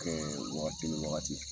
Wagati ni wagati